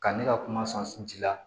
Ka ne ka kuma sɔn ji la